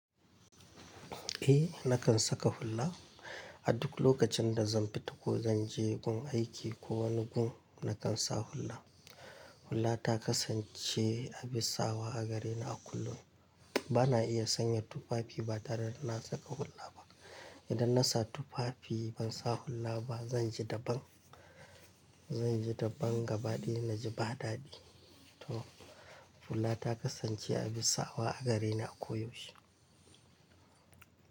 Eh, nakan saka hula. A duk lokacin da zan fita ko zan je gun aiki ko wani gun, nakan sa hula. Hula ta kasance abin sawa a gare ni a kullum. Bana iya sanya tufafi ba tare da na saka hula ba. Idan na sa tufafi ban sa hula ba, zan ji daban. Zan ji daban gaba daya na ji ba dadi. To hula ta kasance abin sawa a gare ni a koyaushe.